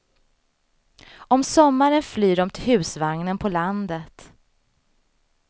Om sommaren flyr de till husvagnen på landet.